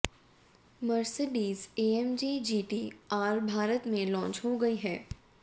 Mercedes AMG GT R Bharat में launch हो गई है